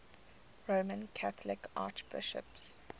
roman catholic archbishops